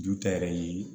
Ju ta yɛrɛ ye